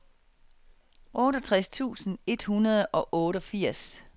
otteogtres tusind et hundrede og otteogfirs